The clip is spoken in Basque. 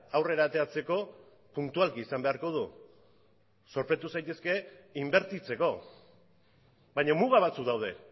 aurrera ateratzeko puntualki izan beharko du zorpetu zintezke inbertitzeko baina muga batzuk daude